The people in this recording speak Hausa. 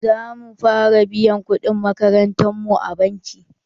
Za mu fara biyan kuɗin makarantar mu a banki.